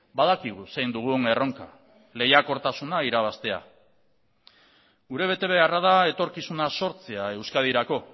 badakigu zein dugun erronka lehiakortasuna irabaztea gure betebeharra da etorkizuna sortzea euskadirako